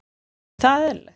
Finnst þér það eðlilegt?